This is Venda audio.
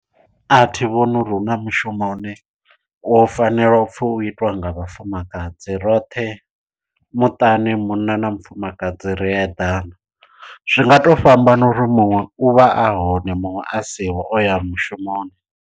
A thi vhoni uri huna mushumo une wo fanela u pfhi u itiwa nga vhafumakadzi roṱhe muṱani munna na mufumakadzi ri eḓana zwi nga to fhambana uri muṅwe u vha a hone muṅwe a siho o ya mushumoni.